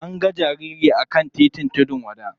An ga jariri a kan titin tudun wada.